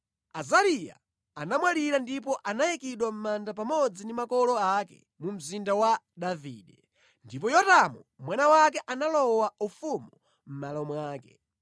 Azariya anamwalira ndipo anayikidwa mʼmanda pamodzi ndi makolo ake mu Mzinda wa Davide. Ndipo Yotamu mwana wake analowa ufumu mʼmalo mwake.